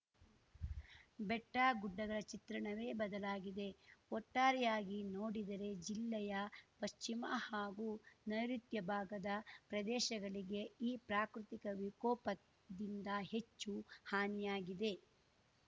ಬೆಟ್ಟಗುಡ್ಡಗಳ ಚಿತ್ರಣವೇ ಬದಲಾಗಿದೆ ಒಟ್ಟಾರೆಯಾಗಿ ನೋಡಿದರೆ ಜಿಲ್ಲೆಯ ಪಶ್ಚಿಮ ಹಾಗೂ ನೈರುತ್ಯ ಬಾಗದ ಪ್ರದೇಶಗಳಿಗೆ ಈ ಪ್ರಾಕೃತಿಕ ವಿಕೋಪದಿಂದ ಹೆಚ್ಚು ಹಾನಿಯಾಗಿದೆ